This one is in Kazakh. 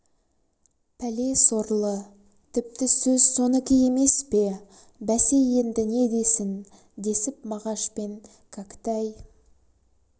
пәле сорлы тіпті сөз сонікі емес пе бәсе енді не десін десіп мағаш пен кәкітай